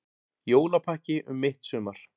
Jólapakki um mitt sumar